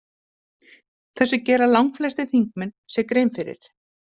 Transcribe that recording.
Þessu gera langflestir þingmenn sér grein fyrir.